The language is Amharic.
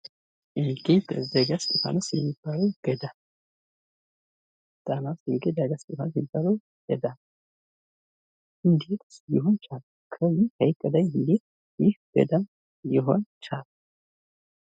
ደጋ እስጢፋኖስ የሚባለው ገዳም ጣና ዉስጥ የሚገኙት ዳጋ እስጢፋኖስ የሚባልው ገዳም እንዴት ሊሆን ቻለ? በዚህ ሀይቅ ላይ እንዴት ይህ ገዳም ሊሆን ቻለ?